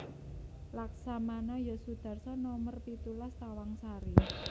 Laksamana Yos Sudarso nomer pitulas Tawangsari